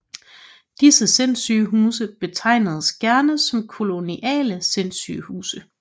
Disse Sindssygehuse betegnes gerne som koloniale Sindssygehuse